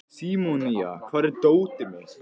Símonía, hvar er dótið mitt?